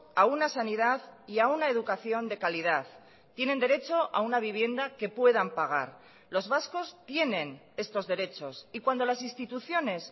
a una sanidad y a una educación de calidad tienen derecho a una vivienda que puedan pagar los vascos tienen estos derechos y cuando las instituciones